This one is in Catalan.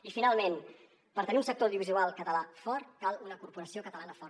i finalment per tenir un sector audiovisual català fort cal una corporació catalana forta